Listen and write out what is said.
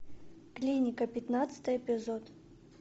клиника пятнадцатый эпизод